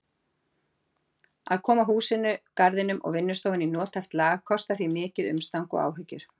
Að koma húsinu, garðinum og vinnustofunum í nothæft lag kostar því mikið umstang og áhyggjur.